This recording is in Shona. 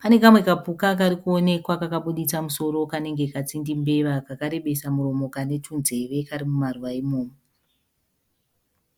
Pane kamwe kapuka karikuonekwa kakabuditsa musoro kanenge katsindi mbeva kakarebesa muromo kane tunzeve kari mumaruva imomo.